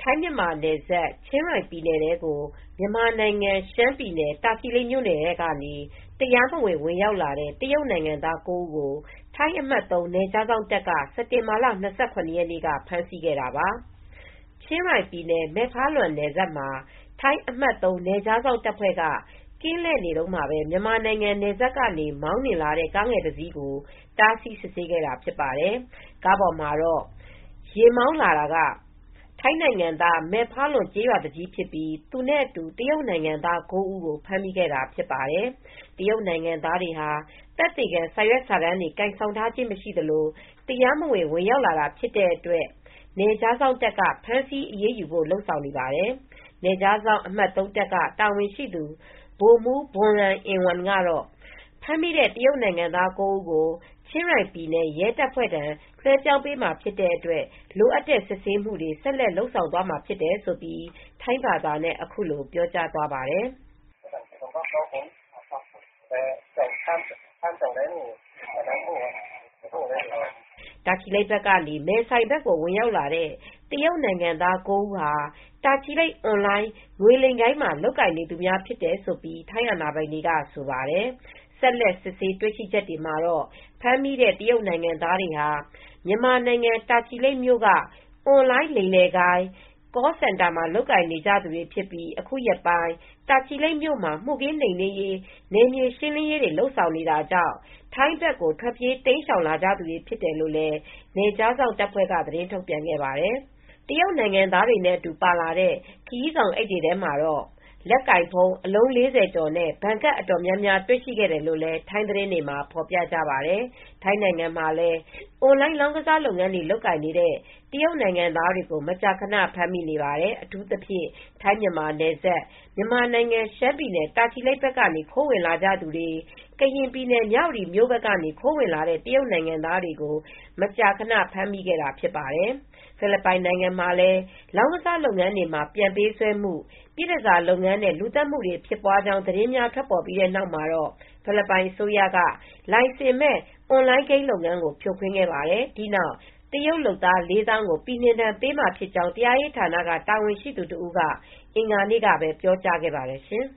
ထိုင်းမြန်မာနယ်စပ် ချင်းရိုင်ပြည်နယ်ထဲ တရားမဝင် ဝင်ရောက်လာတဲ့ တရုပ်နိုင်ငံသား ၉ ဦးကို ထိုင်းအမှတ်(၃) နယ်ခြားစောင့်တပ်က စက်တင်ဘာလ ၂၇ ရက်နေ့က ဖမ်းဆီးခဲ့တာပါ။ ချင်းရိုင် ပြည်နယ် မဲဖါလွမ်နယ်စပ်မှာ ထိုင်း အမှတ် ၃ နယ်ခြားစောင့် တပ်ဖွဲ့က ကင်းလှည့်နေတုန်းမှာပဲ မြန်မာနိုင်ငံ နယ်စပ်ကနေ မောင်းနှင်လာတဲ့ ကားငယ်တစ်စီးကို တားဆီးစစ်ဆေးခဲ့တာဖြစ်ပါတယ် ကားပေါ်မှာတော့ ယာဉ်မောင်း လာတာက ထိုင်းနိုင်ငံသား မယ့်ဖါလွင် ကျေးရွာသူကြီးဖြစ်ပြီးသူနဲ့အတူတရုပ်နိုင်ငံသား၉ဦးကို ဖမ်းမိခဲ့တာဖြစ်ပါတယ်။ တရုပ်နိုင်ငံသားတွေဟာ သက်သေခံစာရွက်စာတမ်းတွေ ကိုင်ဆောင်ထားတာမရှိသလို့တရားမဝင်ဝင်ရောက်လာတာဖြစ်တဲ့အတွက် နယ်ခြားစောင့်တပ်က ဖမ်းဆီးအရေးဖို့လုပ်ဆောင်နေပါတယ် နယ်ခြားစောင့်အမှတ်သုံးက တာဝန်ရှိသူ ဗိုလ်မူး ဘွန်ရန် အင်ဝမ်ကတော့ ဖမ်းမိတဲ့ တရုပ်နိုင်ငံသား(၉ ) ဦးကို ချင်းရိုင်ပြည်နယ် ရဲတပ်ဖွဲ့ထံ လွဲပြောင်းပေးမှာဖြစ်ပြီး လိုအပ်တဲ့ စစ်ဆေးမူတွေဆက်လ က် လုပ်ဆောင်သွားမှာဖြစ်တယ်လို့ထိုင်းဘာသာနဲ့ ပြောကြားသွားပါတယ်။ တာချီလိတ်ဘက်ကနေ မဲဆိုင်ဘက်ကို ဝင်ရောက်လာတဲ့ တရုပ်နိုင်ငံသား (၉ ) ဦး ဟာ တာချီလိတ် အွန်လိုင်း ငွေလိမ် ဂိုဏ်းမှာလုပ်ကိုင်နေသူများဖြစ်တယ်လို့ ထိုင်းအာဏာပိုင်တွေက ပြောဆိုပါတယ်။ ဆက်လက် စစ်ဆေးတွေ့ရှိချက်တွေမှာတော့ ဖမ်းမိတဲ့ တရုပ်နိုင်ငံသားတွေဟာ မြန်မာနိုင်ငံ တာချီလိတ်မြို့က အွန်လိုင်း လိမ်လည်ဂိုဏ်း call canter မှာ လုပ်ကိုင်နေကြ သူတွေဖြစ်ပြီး အခုရက်ပိုင်း တာချီလိတ်မြို့မှာ မူခင်းနိမ်နင်းရေးနယ်မြေရှင်းလင်း ရေးတွေကိုလုပ်ဆောင်နေတာကြောင့် ထိုင်းဘက်ကိုထွက်ပြေးတိမ်းရှောင်လာသူတွေဖြစ်တယ်လို့ နယ်ခြားစောင့်တပ်ဖွဲ့က သတင်းထုတ်ပြန်ခဲ့ပါတယ်။ တရုပ်နိုင်ငံသားတွေနဲ့ အတူပါလာတဲ့ ခရီးဆောင်အိပ်တွေမှာတော့ လက်ကိုင် ဖုန်းအလုံး ၄၀ ကျော်နဲ့ ဘဏ်ကပ် အတော်များများတွေ့ရှိခဲ့တယ်လို့လည်း ထိုင်းသတင်းတွေမှာ ဖော်ပြကြပါတယ်။ ထိုင်းနိုင်ငံမှာလည်း အွန်လိုင်း လောင်းကစားလုပ်ငန်းတွေ လုပ်ကိုင်နေတဲ့ တရုပ်နိုင်ငံသားတွေကို မကြာခန ဖမ်းမိနေပါတယ်။အထူးသဖြင့် ထိုင်းမြန်မာနယ်စပ် မြန်မာနိုင်ငံ ရှမ်းပြည်နယ် တာချီလိပ် ဘက်ကနေ ခိုးဝင်လာတဲ့သူတွေ ကရင်ပြည်နယ် မြဝတီမြို့ဖက်က ခိုးဝင်လာတဲ့ တရုပ်နိုင်ငံသားတွေကို မကြာခန ဖမ်းမိခဲ့တာဖြစ်ပါတယ်။ ဖိလစ်ပိုင်နိုင်ငံမှာလည်း လောင်းကစား လုပ်ငန်းတွေမှာ ပြန်ပေးဆွဲမှု၊ ပြည့်တန်ဆာလုပ်ငန်းနဲ့ လူသတ်မှုများ ဖြစ်ပွားကြောင်း သတင်းများ ထွက်ပေါ်လာပြီးနောက် ဖိလစ်ပိုင်အစိုးရက လိုင်စင်မဲ့ အွန်လိုင်းဂိမ်း လုပ်ငန်းကို ဖြိုခွင်းခဲ့ပါတယ်။ ဒီနောက် တရုတ်လုပ်သား ၄၀,၀၀၀ ကို ပြည်နှင်ဒဏ်ပေးမှာဖြစ်ကြောင်း တရားရေးဌာန တာဝန်ရှိသူတစ်ဦးက အင်္ဂါနေ့ကပဲ ပြောကြားခဲ့ပါတယ်ရှင်